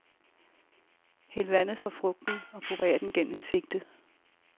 Hæld vandet fra frugten og purer den gennem en sigte.